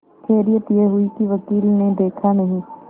खैरियत यह हुई कि वकील ने देखा नहीं